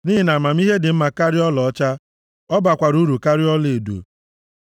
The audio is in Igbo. Nʼihi na amamihe dị mma karịa ọlaọcha, ọ bakwara uru karịa ọlaedo.